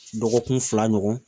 Dɔgɔkun fila ɲɔgɔn